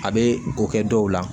A bɛ ko kɛ dɔw la